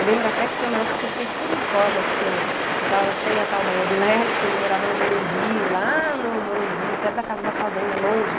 Eu lembro até que foi uma época que eu fiquei super informa, porque eu tava sem a tal da mobilete, ele morava no Morumbi, lá no Morumbi, perto da casa da fazenda, longe.